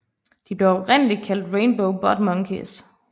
De blev oprindeligt kaldt Rainbow Butt Monkeys